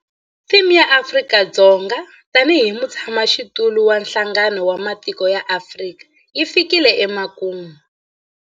Theme ya Afrika-Dzonga tanihi mutshamaxitulu wa Nhlangano wa Matiko ya Afrika yi fikile emakumu.